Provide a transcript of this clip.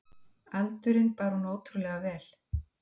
Aldurinn bar hún ótrúlega vel.